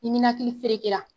Ni ninakili feerekela